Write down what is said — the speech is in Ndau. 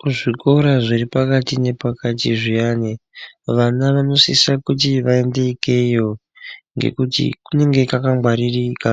Kuzvikora zviri pakati nepakati zviyani vana vano sisa kuti vaende ikeyo ngekuti kunenge mwakangwaririka